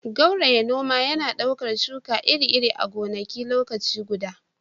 gauraye- noma yana ɗaukar shuka iri-iri a gonaki a lokaci guda